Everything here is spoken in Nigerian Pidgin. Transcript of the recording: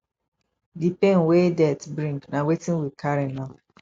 di pain wey death bring na wetin we carry now